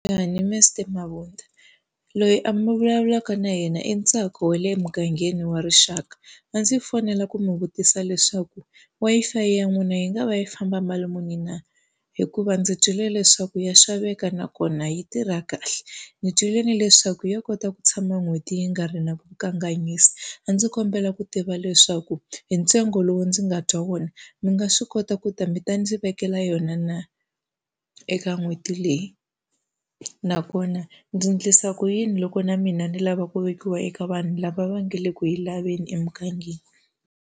Mabunda loyi mi vulavulaka na yena i Ntsako wa le emugangeni wa rixaka. A ndzi fonela ku mi vutisa leswaku Wi-Fi ya n'wina yi nga va yi famba mali muni na? Hikuva ndzi twile leswaku ya xaveka nakona yi tirha kahle. Ndzi twile ni leswaku ya kota ku tshama n'hweti yi nga ri na ku kanganyisa. A ndzi kombela ku tiva leswaku hi ntsengo lowu ndzi nga twa vona, mi nga va swi kota ku ta mi ta ndzi vekela yona na eka n'hweti leyi? Nakona ndzi endlisa ku yini loko na mina ni lava ku vekiwa eka vanhu lava va nga le ku yi laveni emugangeni?